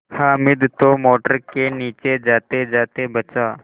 हामिद तो मोटर के नीचे जातेजाते बचा